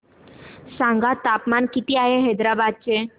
सांगा तापमान किती आहे हैदराबाद चे